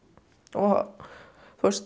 og